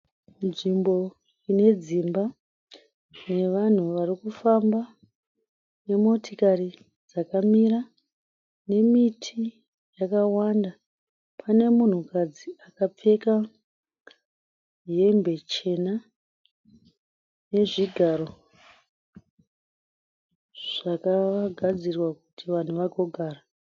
Nzvimbo ine dzimba nevanhu varikufamba nemotokari dzakamira nemiti yakawanda, pane munhukadzi akapfeka hembe chena nezvigaro zvakagadzirwa kuti vanhu vagogara.